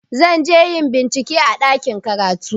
Zan je yin bincike a ɗakin karatu.